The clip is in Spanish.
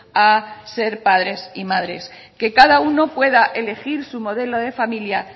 a ser padres y madres que cada uno pueda elegir su modelo de familia